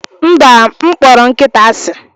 mba, m kpọrọ nkịta asị